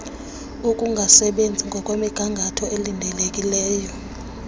ukungasebenzi ngokwemnigangatho elindelekileyo